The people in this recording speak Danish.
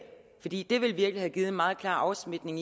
fordi det ville virkelig have givet en meget klar afsmitning